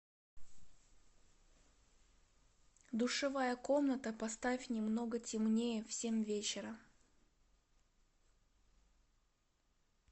душевая комната поставь немного темнее в семь вечера